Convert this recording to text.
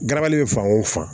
Garabali bɛ fan o fan